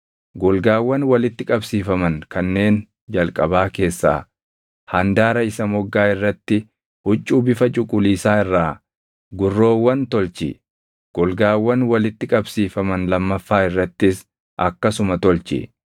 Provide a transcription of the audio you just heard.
Golgaawwan walitti qabsiifaman kanneen jalqabaa keessaa handaara isa moggaa irratti huccuu bifa cuquliisaa irraa gurroowwan tolchi; golgaawwan walitti qabsiifaman lammaffaa irrattis akkasuma tolchi.